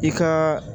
I ka